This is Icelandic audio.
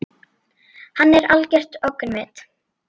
Hann er algert öngvit!